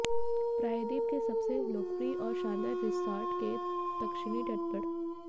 प्रायद्वीप के सबसे लोकप्रिय और शानदार रिसॉर्ट्स के दक्षिणी तट पर